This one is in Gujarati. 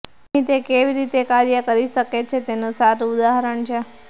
અહીં તે કેવી રીતે કાર્ય કરી શકે છે તેનું સારું ઉદાહરણ છે